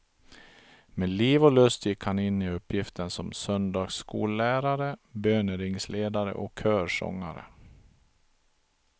Med liv och lust gick han in i uppgiften som söndagsskollärare, böneringsledare och körsångare.